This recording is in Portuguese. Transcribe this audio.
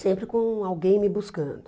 Sempre com alguém me buscando.